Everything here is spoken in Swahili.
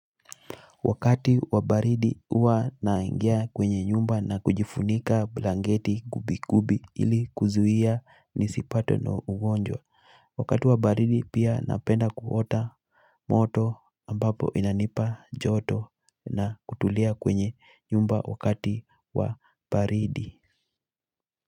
Wakati wa baridi huwa naingia kwenye nyumba na kujifunika blanketi gubi gubi ili kuzuia nisipatwe na ugonjwa. Wakati wabaridi pia napenda kuota moto ambapo inanipa joto na kutulia kwenye nyumba wakati wa baridi.